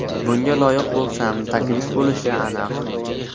Bunga loyiq bo‘lsam, taklif bo‘lishi aniq.